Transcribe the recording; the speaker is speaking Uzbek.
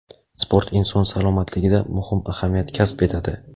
Sport inson salomatligida muhim ahamiyat kasb etadi.